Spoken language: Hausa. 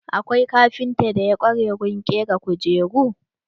Akwai kafintan da ya ƙware wurin ƙera kujeru.